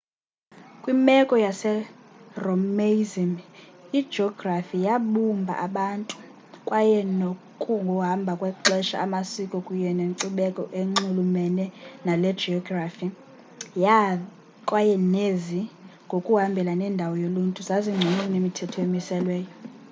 kwimeko yeromaism ijografi yabumba abantu kwaye ngokuhamba kwexesha amasiko kunye nenkcubeko enxulumene naloo geografi yavela kwaye nezi ngokuhambelana nendawo yoluntu zazingcono kunemithetho emiselweyo